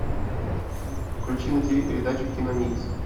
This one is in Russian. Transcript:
включи на тиви передачу киномикс